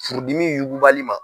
Furudimi yugubali ma.